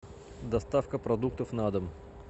доставка продуктов на дом